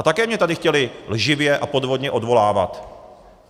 A také mě tady chtěli lživě a podvodně odvolávat.